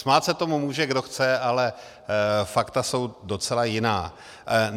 Smát se tomu může, kdo chce, ale fakta jsou docela jiná.